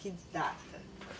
Que data?